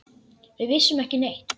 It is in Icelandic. Við vissum ekki neitt.